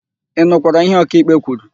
Ị nụkwara ihe ọkaịkpe kwuru?